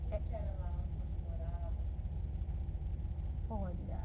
Como que era lá onde você morava, assim? Olha...